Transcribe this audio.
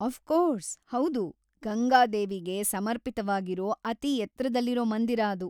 Of course, ಹೌದು. ಗಂಗಾದೇವಿಗೆ ಸಮರ್ಪಿತವಾಗಿರೋ ಅತಿ ಎತ್ರದಲ್ಲಿರೋ ಮಂದಿರ ಅದು.